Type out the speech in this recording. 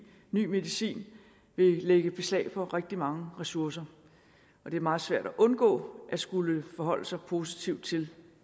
ny medicin lægge beslag på rigtig mange ressourcer det er meget svært at undgå at skulle forholde sig positivt til